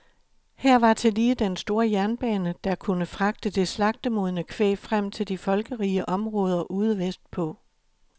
Her var tillige den store jernbane, der kunne fragte det slagtemodne kvæg frem til de folkerige områder ude vestpå.